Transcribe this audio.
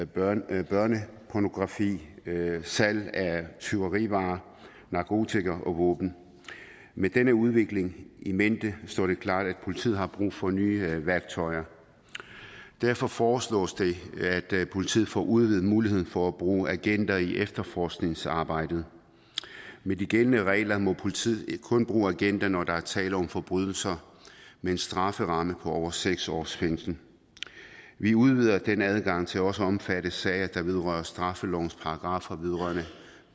børnepornografi salg af tyverivarer narkotika og våben med denne udvikling in mente står det klart at politiet har brug for nye værktøjer derfor foreslås det at politiet får udvidet muligheden for at bruge agenter i efterforskningsarbejdet med de gældende regler må politiet kun bruge agenter når der er tale om forbrydelser med en strafferamme på over seks års fængsel vi udvider den adgang til også at omfatte sager der vedrører straffelovens paragraffer vedrørende